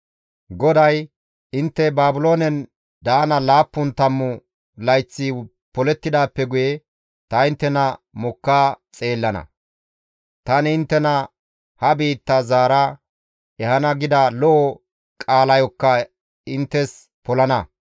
«GODAY, ‹Intte Baabiloonen daana laappun tammu layththi polettidaappe guye ta inttena mokka xeellana; tani inttena ha biitta zaara ehana gida lo7o qaalayokka inttes polana.